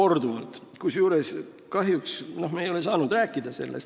Me ei ole kahjuks saanud sellest rääkida.